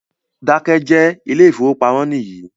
Keep quiet, this is bank